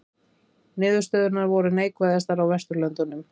Niðurstöðurnar voru neikvæðastar á Vesturlöndum